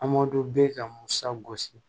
bɛ ka musa gosi